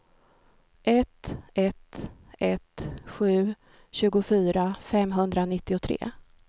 ett ett ett sju tjugofyra femhundranittiotre